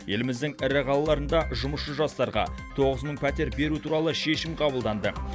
еліміздің ірі қалаларында жұмысшы жастарға тоғыз мың пәтер беру туралы шешім қабылданды